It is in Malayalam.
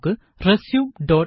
നമുക്ക് റസ്യൂംodt